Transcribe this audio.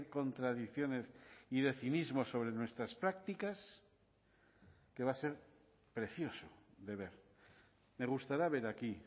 contradicciones y de cinismo sobre nuestras prácticas que va a ser precioso de ver me gustará ver aquí